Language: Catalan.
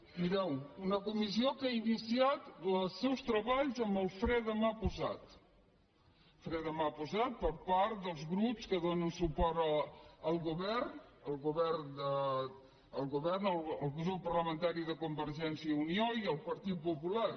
mireu una comissió que ha iniciat els seus treballs amb el fre de mà posat fre de mà posat per part dels grups que donen suport al govern el grup parlamentari de convergència i unió i el del partit popular